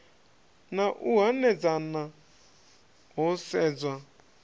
na u hanedzana ho sedzwa